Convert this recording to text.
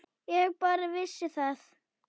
Ég bara vissi það.